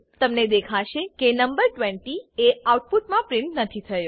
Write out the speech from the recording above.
તમને દેખાશે કે નંબર 20 એ આઉટપુટમા પ્રિન્ટ નથી થયો